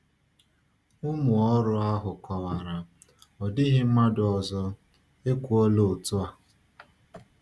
Ụmụ ọrụ ahụ kọwara: “Ọ dịghị mmadụ ọzọ ekwuola otu a.”